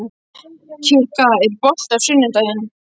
Kikka, er bolti á sunnudaginn?